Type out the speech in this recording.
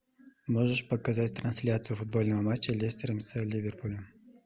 можешь показать трансляцию футбольного матча лестера с ливерпулем